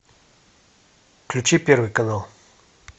включи первый канал